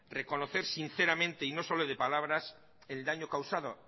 reconocer sinceramente y no solo de palabras el daño causado